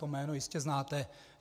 To jméno jistě znáte.